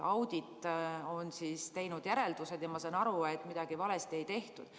Audit on teinud järeldused ja ma saan aru, et midagi valesti ei tehtudki.